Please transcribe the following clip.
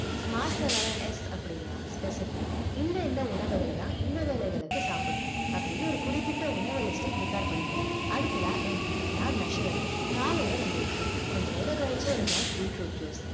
smart ல வர S அப்படீன்னா specific இந்த இந்த உணவுகளைதான் இந்த வேலைகளுக்கு சாப்பிடணும் அப்படின்னு ஒரு குறிப்பிட்ட உணவு list அ prepare பண்ணிக்கணும் அடுத்தது M னா measurable காலையில ரெண்டு இட்லி கொஞ்ச நேரம் கழிச்சு ஒரு glass beetroot juice